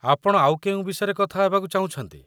ଆପଣ ଆଉ କେଉଁ ବିଷୟରେ କଥା ହେବାକୁ ଚାହୁଁଛନ୍ତି?